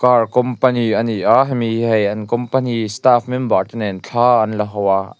car company a ni a hemi hi hei an company staff member te nen thla an la ho a.